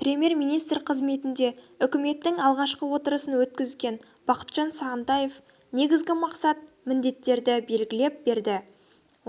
премьер-министр қызметінде үкіметтің алғашқы отырысын өткізген бақытжан сағынтаев негізгі мақсат-міндеттерді белгілеп берді